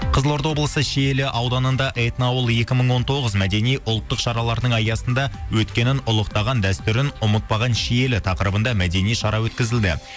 қызылорда облысы шиелі ауданында этноауыл екі мың он тоғыз мәдени ұлттық шараларының аясында өткенін ұлықтаған дәстүрін ұмытпаған шиелі тақырыбында мәдени шара өткізілді